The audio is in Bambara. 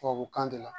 Tubabukan de la